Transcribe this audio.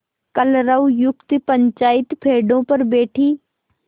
कलरवयुक्त पंचायत पेड़ों पर बैठी